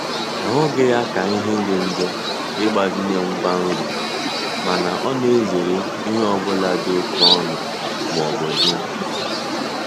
Ọhughi ya ka nhe di njo ịgbazinye ngwa nri mana ọ na-ezere ihe ọ bụla dị oke ọnụ ma ọ bụ dị mkpa.